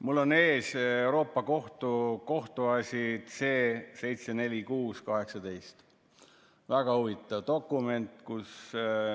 Mul on ees Euroopa Liidu Kohtu kohtuasi C-746/18 – väga huvitav dokument!